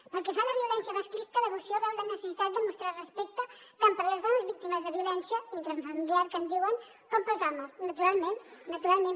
pel que fa a la violència masclista la moció veu la necessitat de mostrar respecte tant per les dones víctimes de violència intrafamiliar que en diuen com pels homes naturalment naturalment